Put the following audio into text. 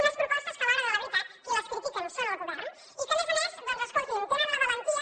unes propostes que a l’hora de la veritat qui les critica és el govern i que a més a més doncs escolti’m tenen la valentia